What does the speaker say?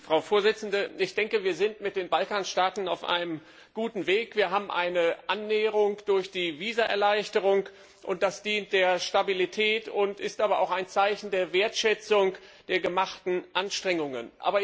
Frau Präsidentin! Ich denke, wir sind mit den Balkanstaaten auf einem guten Weg. Wir haben eine Annäherung durch die Visaerleichterung, und das dient der Stabilität, ist aber auch ein Zeichen der Wertschätzung der unternommenen Anstrengungen.